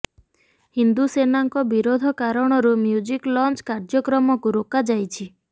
ହିନ୍ଦୁ ସେନାଙ୍କ ବିରୋଧ କାରଣରୁ ମୁ୍ୟଜିକ ଲଂଚ କାର୍ଯ୍ୟକ୍ରମକୁ ରୋକା ଯାଇଛି